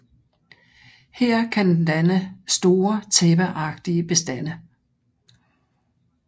Her kan den danne store tæppeagtige bestande